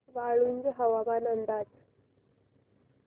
वाळूंज हवामान अंदाज